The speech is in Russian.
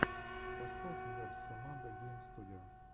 поставь нерд соммандо гейм студио